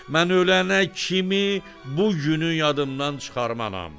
Mən ölənə kimi bu günü yadımdan çıxarmaram.